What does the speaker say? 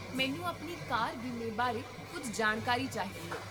ਮੈਨੂੰ ਆਪਣੀ ਕਾਰ ਬੀਮੇ ਬਾਰੇ ਕੁੱਝ ਜਾਣਕਾਰੀ ਚਾਹੀਦੀ ਹੈ